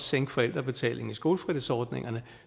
sænke forældrebetalingen i skolefritidsordningerne